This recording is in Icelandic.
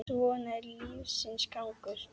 Svona er lífsins gangur.